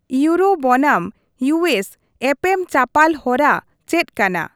ᱤᱩᱭᱩᱨᱳ ᱵᱚᱱᱟᱢ ᱤᱭᱩᱹᱮᱥ ᱮᱯᱮᱢ ᱪᱟᱯᱟᱞ ᱦᱚᱨᱟ ᱪᱮᱫ ᱠᱟᱱᱟ ?